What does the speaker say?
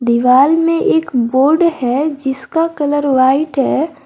दीवाल में एक बोर्ड है जिसका कलर व्हाइट है।